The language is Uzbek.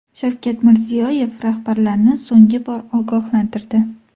Shavkat Mirziyoyev rahbarlarni so‘nggi bor ogohlantirdi .